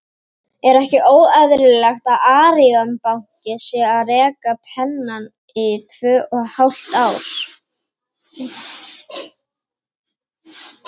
Er ekki óeðlilegt að Arion banki sé að reka Pennann í tvö og hálft ár?